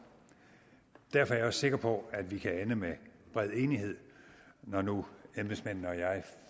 derfor er sikker på at vi kan ende med bred enighed når nu embedsmændene og jeg